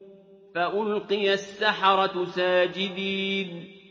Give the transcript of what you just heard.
فَأُلْقِيَ السَّحَرَةُ سَاجِدِينَ